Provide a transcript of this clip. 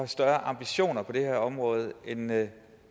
større ambitioner på det her område end det